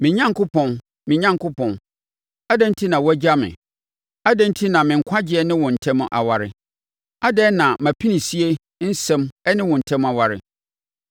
Me Onyankopɔn, me Onyankopɔn, adɛn enti na woagya me? Adɛn enti na me nkwagyeɛ ne wo ntam aware, adɛn na mʼapinisie nsɛm ne wo ntam aware?